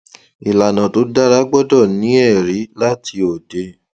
ìlànà tó dára gbọdọ ní ẹrí láti òde